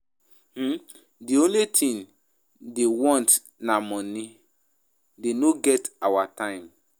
um The only thing dey want na money dey no get our time